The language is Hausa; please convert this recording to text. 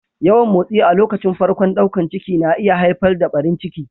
Yawan motsi a lokacin farkon daukan ciki na iya haifar da ɓarin ciki.